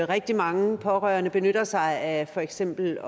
rigtig mange pårørende benytter sig af for eksempel